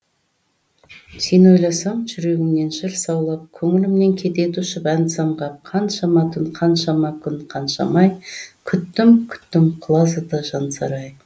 сен ойласам жүрегімнен жыр саулап көңілімнен кетеді ұшып ән самғап қаншама түн қаншама күн қаншама ай күттім күттім құлазыды жансарай